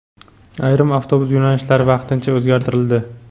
ayrim avtobus yo‘nalishlari vaqtincha o‘zgartirildi.